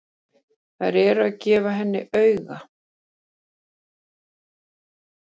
Þær eru að gefa henni auga.